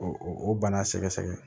O o o bana sɛgɛsɛgɛ